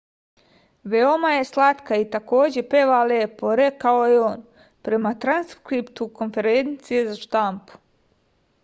veoma je slatka i takođe peva lepo rekao je on prema transkriptu konferencije za štampu